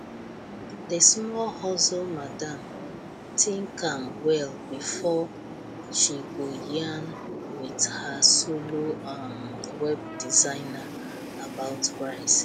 the small hustle madam think am well before she go yarn with her solo um web designer about price